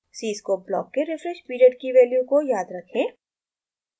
cscope block के refresh period की value को याद रखें